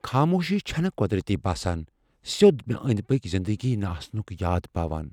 خاموشی چَھنہٕ قۄدرتی باسان ،سیوٚد مےٚ أندۍ پٔكۍ زِندگی نہٕ آسنُک یاد پاوان۔